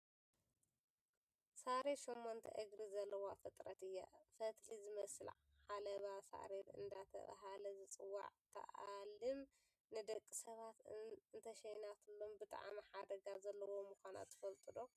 ሳሬት ሸሞንተ እግሪ ዘለዋ ፍጥረት እያ ፈትሊ ዝመስል ዓለባ ሳሬት እንዳተባሃለ ዝፅዋዕ ትኣልም ንደቂ ሰባት እንተሸናትሎም ብጣዕሚ ሓደጋ ዘለዋ ምኳና ትፈልጡ ዶ?